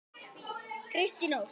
Kristín Ósk.